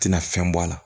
Tɛna fɛn bɔ a la